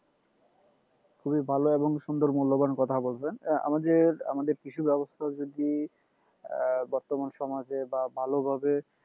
খুবই ভালো এবং সুন্দর মূল্যবান কথা বলছেন আহ আমাদের আমাদের কৃষি ব্যবস্থা যদি আহ বর্তমান সমাজে বা ভালো ভাবে